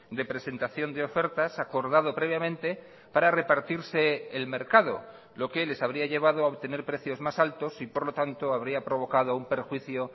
de presentación de ofertas acordado previamente para repartirse el mercado lo que les habría llevado a obtener precios más altos y por lo tanto habría provocado un perjuicio